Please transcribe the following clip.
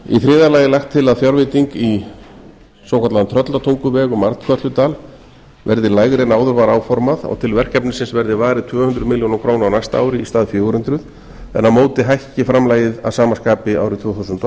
í þriðja lagi er lagt til að fjárveiting í svokallaðan tröllatunguveg um arnkötludal verði lægri en áður var áformað og til verkefnisins verði varið tvö hundruð milljóna króna á næsta ári í stað fjögur hundruð en á móti hækki framlagið að sama skapi árið tvö þúsund og